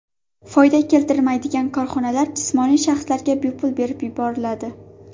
Foyda keltirmaydigan korxonalar jismoniy shaxslarga bepul berib yuboriladi.